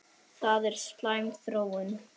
Það er slæm þróun.